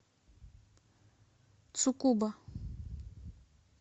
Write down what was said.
цукуба